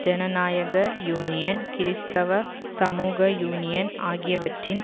ஜனநாயக யூனியன் கிறிஸ்தவ சமூக யூனியன் ஆகியவற்றின்